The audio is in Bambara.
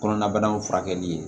Kɔnɔna banaw furakɛli ye